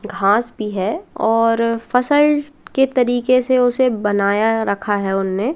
घास भी है और फसल के तरीके से उसे बनाया रखा है उन्हें ।